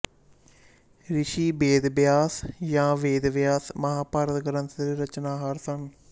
ਰਿਸ਼ੀ ਬੇਦਬਿਆਸ ਜਾਂ ਵੇਦਵਿਆਸ ਮਹਾਂਭਾਰਤ ਗ੍ਰੰਥ ਦੇ ਰਚਣਹਾਰ ਸਨ